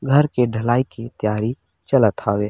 घर के ढलाई के तैयारी चलत हावे।